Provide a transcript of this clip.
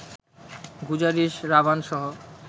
Guzaarish, রাভানসহ